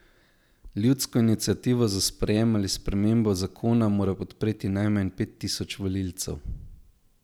Ljudsko iniciativo za sprejem ali spremembo zakona mora podpreti najmanj pet tisoč volivcev.